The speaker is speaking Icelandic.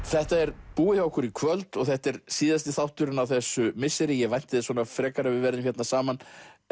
þetta er búið hjá okkur í kvöld og þetta er síðasti þátturinn á þessu misseri ég vænti þess frekar að við verðum hérna saman